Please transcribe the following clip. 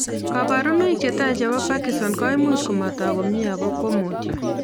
Kparunoik chatai chepo parkinson's koimuch komatok komie ako komutyo